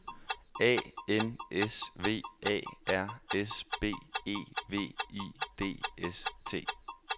A N S V A R S B E V I D S T